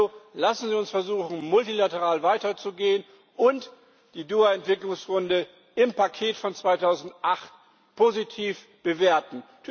Also lassen Sie uns versuchen, multilateral weiterzugehen, und die Doha Entwicklungsrunde im Paket von 2008 positiv bewerten.